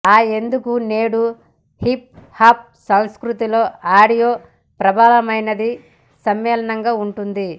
ఆ ఎందుకు నేడు హిప్ హాప్ సంస్కృతిలో ఆడియో ప్రబలమైనదిగా సమ్మేళనంగా ఉంటుంది